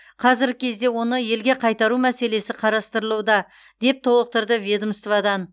қазіргі кезде оны елге қайтару мәселесі қарастырылуда деп толықтырды ведомстводан